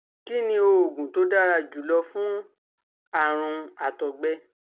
Kí ni oògùn tó dára jù lọ fún àrùn àtọ̀gbẹ?